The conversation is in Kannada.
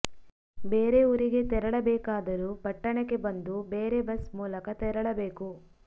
ಬೇರೆ ಊರಿಗೆ ತೆರಳಬೇಕಾದರೂ ಪಟ್ಟಣಕ್ಕೆ ಬಂದು ಬೇರೆ ಬಸ್ ಮೂಲಕ ತೆರಳಬೇಕು